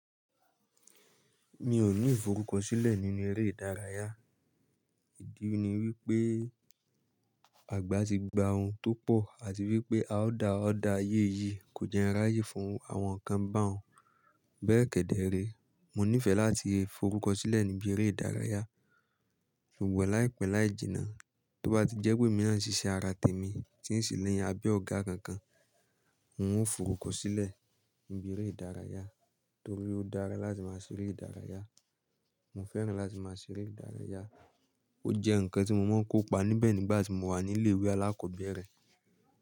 Mi ò ní forúkọ sílẹ̀ nínú eré ìdárayá. Ìdí ni wípé àgbà ti gba òun tó pọ̀ àti wípé a ó dá ọ̀dà ayé yìí kò jẹ́ ráyè fún àwọn kan bá òun. Bẹ́ẹ̀ kẹ̀dẹ̀ rí, mo nífẹ̀ẹ́ láti forúkọ sílẹ̀ níbi eré ìdárayá. Ṣùgbọ́n láìpẹ́ láì jìnnà, tó bá ti jẹ́ pé mi ò ní ṣiṣẹ́ ara tèmi tí ń ṣi ni àbe ọ̀gá kankan, n ó forúkọ sílẹ̀ níbi eré ìdárayá torí ó dára láti máa ṣeré ìdárayá. Mo fẹ́ràn láti máa ṣeré ìdárayá. Ó jẹ́ ǹkan tí mo máa ń kópa níbẹ̀ nígbà tí mo wà ní ilé ìwé alákọ̀ọ́bẹ̀rẹ̀